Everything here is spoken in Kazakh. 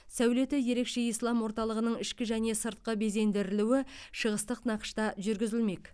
сәулеті ерекше ислам орталығының ішкі және сыртқы безендірілуі шығыстық нақышта жүргізілмек